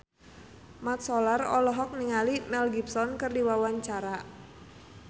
Mat Solar olohok ningali Mel Gibson keur diwawancara